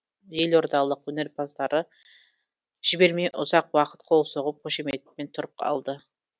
елордалық өнерпаздарды жібермей ұзақ уақыт қол соғып қошеметтеп тұрып алды